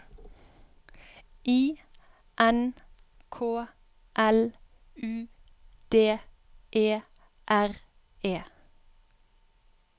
I N K L U D E R E